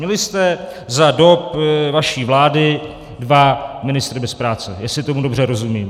Měli jste za dob vaší vlády dva ministry bez práce, jestli tomu dobře rozumím.